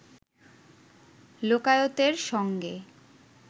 লোকায়তের সঙ্গে